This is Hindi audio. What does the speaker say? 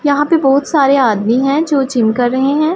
यहाँ पे बहुत सारे आदमी हैं जो जिम कर रहें हैं।